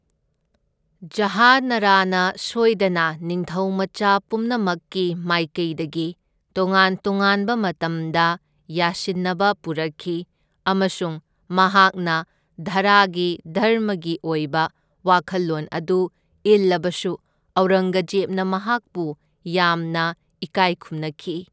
ꯖꯍꯥꯅꯥꯔꯥꯅ ꯁꯣꯏꯗꯅ ꯅꯤꯡꯊꯧꯃꯆꯥ ꯄꯨꯝꯅꯃꯛꯀꯤ ꯃꯥꯏꯀꯩꯗꯒꯤ ꯇꯣꯉꯥꯟ ꯇꯣꯉꯥꯟꯕ ꯃꯇꯝꯗ ꯌꯥꯁꯤꯟꯅꯕ ꯄꯨꯔꯛꯈꯤ ꯑꯃꯁꯨꯡ ꯃꯍꯥꯛꯅ ꯗꯥꯔꯥꯒꯤ ꯙꯔꯃꯒꯤ ꯑꯣꯏꯕ ꯋꯥꯈꯜꯂꯣꯟ ꯑꯗꯨ ꯏꯜꯂꯕꯁꯨ ꯑꯧꯔꯪꯒꯖꯦꯕꯅ ꯃꯍꯥꯛꯄꯨ ꯌꯥꯝꯅ ꯏꯀꯥꯏ ꯈꯨꯝꯅꯈꯤ꯫